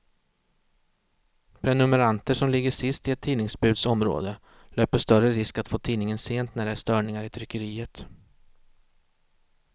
Prenumeranter som ligger sist i ett tidningsbuds område löper större risk att få tidningen sent när det är störningar i tryckeriet.